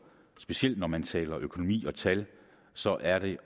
specielt når man taler økonomi og tal så er det